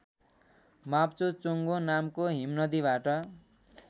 माप्चोचोङ्गो नामको हिमनदीबाट